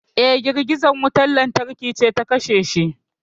Eh girgizar wutar lantarki ce ta kashe shi